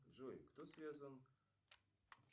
джой кто связан